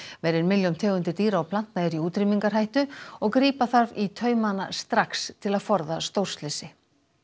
meira en milljón tegundir dýra og plantna eru í útrýmingarhættu og grípa þarf í taumana strax til að forða stórslysi